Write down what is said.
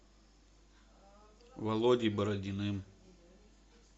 володей бородиным